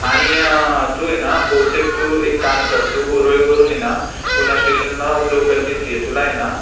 आणि हा तू आहे ना, बहुतेक करून एक काम कर ऊरळीवरून पुणा स्टेशनला लोकलनीच ये तुला हे ना